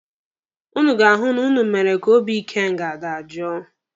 Ụnụ ga-ahụ na ụnụ mere ka obi ikenga dajoo.